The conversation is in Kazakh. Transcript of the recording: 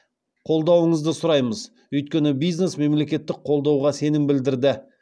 қолдауыңызды сұраймыз өйткені бизнес мемлекеттік қолдауға сенім білдірді